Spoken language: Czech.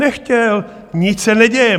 Nechtěl, nic se neděje.